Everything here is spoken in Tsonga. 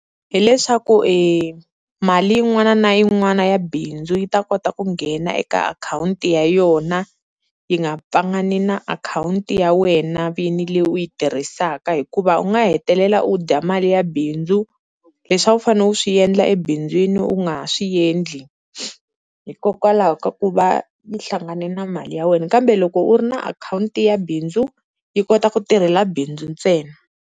Hi leswaku e mali yin'wana na yin'wana ya bindzu yi ta kota ku nghena eka akhawunti ya yona yi nga pfangani na akhawunti ya wena vini leyi u yi tirhisaka hikuva u nga hetelela u dya mali ya bindzu, leswi a wu fanele wu swi endla ebindzwini u nga ha swi endli hikokwalaho ka ku va yi hlangane na mali ya wena. Kambe loko u ri na akhawunti ya bindzu yi kota ku tirhela bindzu ntsena.